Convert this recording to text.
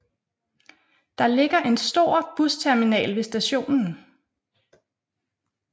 Der ligger en stor busterminal ved stationen